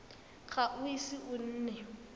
ga o ise o nne